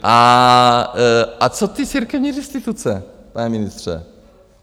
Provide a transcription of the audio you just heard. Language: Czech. A co ty církevní restituce, pane ministře?